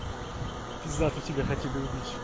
пиздато тебя хотели убить